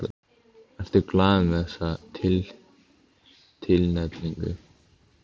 Ertu glaður með þessa tilnefningu?